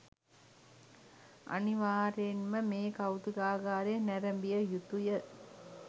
අනිවාර්යයෙන්ම මේ කෞතුකාගාරය නැරඹිය යුතුය